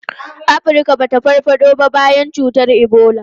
Afirka ba ta farfado ba tun bayan cutar Ebola.